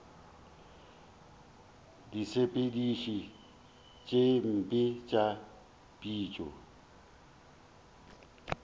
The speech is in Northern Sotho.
disepediši tše mpe tša phišo